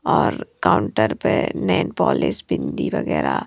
और काउंटर पे nail polish bindi वगैरह --